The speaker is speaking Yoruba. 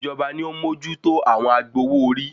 Ìjọba ni ó ń mójútó àwọn agbowó - orí